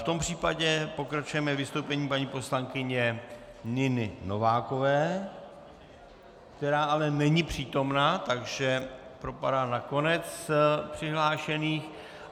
V tom případě pokračujeme vystoupením paní poslankyně Niny Novákové, která ale není přítomna, takže propadá na konec přihlášených.